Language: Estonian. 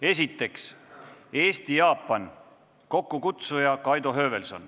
Esiteks, Eesti-Jaapan, kokkukutsuja on Kaido Höövelson.